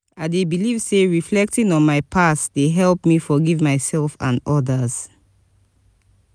i dey believe say reflecting on my past dey help me forgive myself and others.